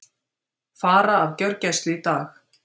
Fara af gjörgæslu í dag